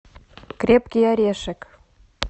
крепкий орешек